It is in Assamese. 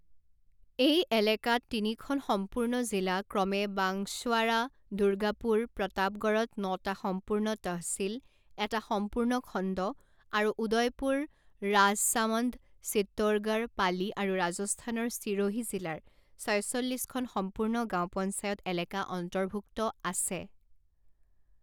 এই এলেকাত তিনিখন সম্পূৰ্ণ জিলা ক্ৰমে বাংশৱাৰা দুৰ্গাপূৰ প্ৰতাপগড়ত নটা সম্পূৰ্ণ তহচিল এটা সম্পূৰ্ণ খণ্ড আৰু উদয়পুৰ ৰাজছামণ্ড চিত্তোৰগড় পালি আৰু ৰাজস্থানৰ চিৰোহী জিলাৰ ছয়চল্লিছখন সম্পূৰ্ণ গাঁও পঞ্চায়ত এলেকা অন্তৰ্ভূক্ত আছে।